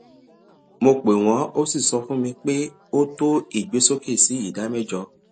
mo pè wọn a sì sọ fún mi pé ó tó ìgbésókè sí ìdá mẹjọ